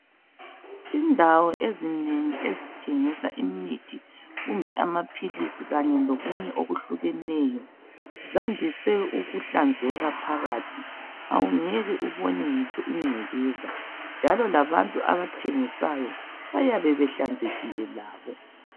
Indawo ezinengi ezithengisa imithi kumbe amaphilisi kanye lokunye okuhlukeneyo zandise ukuhlanzeka phakathi awungeke ubone ngitsho ingcekeza, njalo labantu abathengisayo bayabe behlanzekile labo.